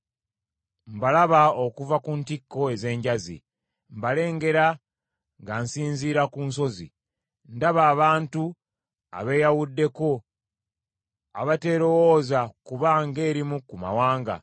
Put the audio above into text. Mbalaba okuva ku ntikko ez’enjazi mbalengera nga nsinziira ku nsozi. Ndaba abantu abeeyawuddeko abateerowooza kuba ng’erimu ku mawanga.